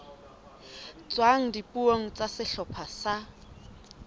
tswang dipuong tsa sehlopha sa